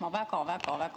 Ma väga-väga-väga ...